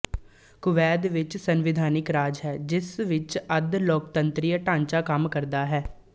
Kuwait ਇੱਕ ਸੰਵਿਧਾਨਕ ਰਾਜ ਹੈ ਜਿਸ ਵਿੱਚ ਅੱਧ ਲੋਕਤੰਤਰੀ ਢਾਂਚਾ ਕੰਮ ਕਰਦਾ ਹੈ